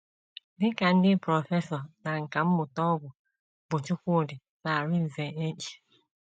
Dị ka ndị prọfesọ na nkà mmụta ọgwụ bụ́ Chukwudi na Arinze H.